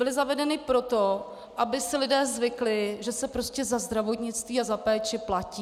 Byly zavedeny proto, aby si lidé zvykli, že se prostě za zdravotnictví a za péči platí.